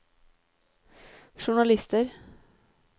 journalister